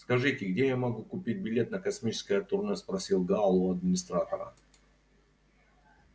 скажите где я могу купить билет на космическое турне спросил гаал у администратора